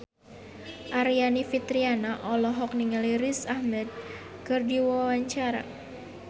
Aryani Fitriana olohok ningali Riz Ahmed keur diwawancara